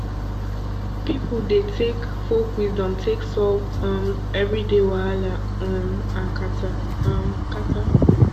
pipo dey take folk wisdom take solve um everyday wahala um and kata um kata